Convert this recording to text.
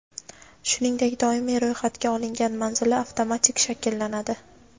shuningdek doimiy roʼyxatga olingan manzili) avtomatik shakllanadi.